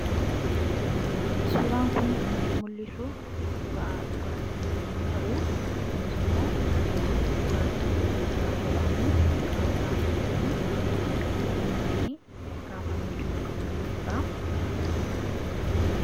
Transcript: Suuraan kun kan inni mul'isu suuraa dhugaatii yommuu ta'u, kunis immoo dhugaatii Dankiiraa jedhamu qaruuraa sadiitti naqamee yommuu inni kaafamee jiru kan mul'isudha.